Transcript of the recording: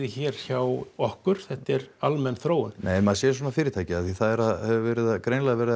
hér hjá okkur þetta er almenn þróun nei en maður sér svona fyrirtæki af því það hefur greinilega verið